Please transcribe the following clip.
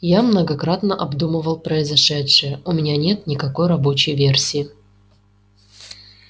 я многократно обдумывал произошедшее у меня нет никакой рабочей версии